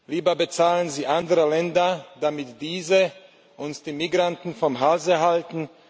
Lieber bezahlen sie andere Länder, damit diese uns die Migranten vom Hals halten.